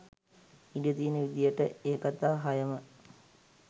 ඉඩ තියෙන විදිහට ඒ කතා හයම